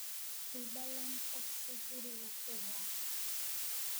ii ballan tagsi guriga ku raac